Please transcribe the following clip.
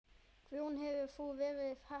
Guðrún: Hefur þú verið heppin?